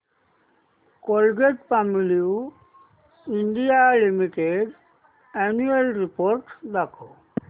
Colgate Palmolive India limited annual report दाखव